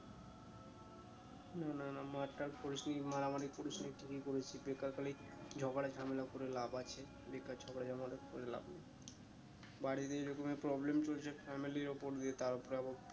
না না না মার্ টার করিসনি মারামারি করিস নি কি বেকার খালি ঝগড়া ঝামেলা করে লাভ আছে বেকার ঝগড়া ঝামেলা করে লাভ নেই বাড়ির এরকম এ problem চলছে family র উপর দিয়ে তার উপরে আবার